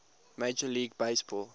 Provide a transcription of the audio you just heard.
major league baseball